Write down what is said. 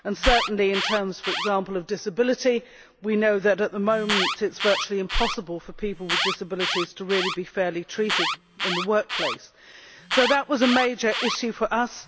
Certainly in terms, for example, of disability we know that at the moment it is virtually impossible for people with disabilities to really be fairly treated in the workplace. So that was a major issue for us.